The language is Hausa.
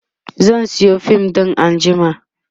zan Sayo fim ɗin anjima